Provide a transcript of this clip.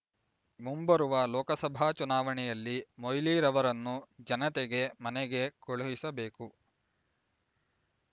ಮುಂಬರುವ ಲೋಕಸಭಾ ಚುನಾವಣೆಯಲ್ಲಿ ಮೊಯ್ಲಿ ರವರನ್ನು ಜನತೆಗೆ ಮನೆಗೆ ಕೊಳುಹಿಸಬೇಕು